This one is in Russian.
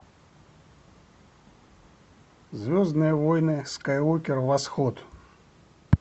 звездные войны скайуокер восход